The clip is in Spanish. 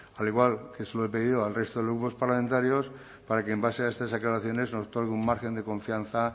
al igual que se lo he pedido al resto de grupos parlamentarios para que en base a estas aclaraciones nos otorgue un margen de confianza